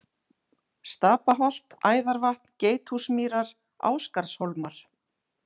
Stapaholt, Æðarvatn, Geithúsmýrar, Ásgarðshólmar